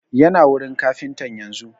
Yana wurin kafintan yanzun